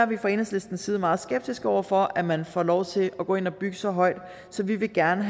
vi fra enhedslistens side er meget skeptiske over for at man får lov til at gå ind og bygge så højt så vi vil gerne